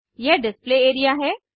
यह display area है